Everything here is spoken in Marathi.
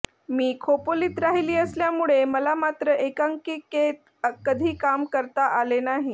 मी खोपोलीत राहिली असल्यामुळे मला मात्र एकांकिकेत कधी काम करता आले नाही